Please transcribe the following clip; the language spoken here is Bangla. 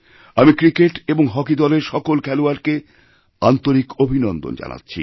আমিক্রিকেট এবং হকি দলের সকল খেলোয়াড়কে আন্তরিক অভিনন্দন জানাচ্ছি